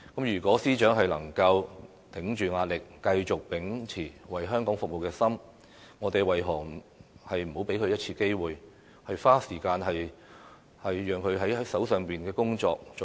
如果司長能夠頂着壓力，繼續秉持為香港服務的心，我們為何不能給她一次機會，花時間做好手上的工作？